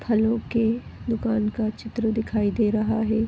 फलो के दुकान का चित्र दिखाई दे रहा है।